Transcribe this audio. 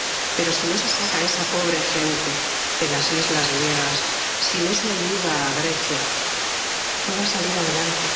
Pero si no se saca a esa pobre gente de las islas griegas, si no se ayuda a Grecia, no va a salir adelante.